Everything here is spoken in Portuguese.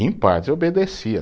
Em parte, eu obedecia.